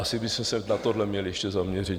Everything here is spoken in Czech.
Asi byste se na tohle měli ještě zaměřit.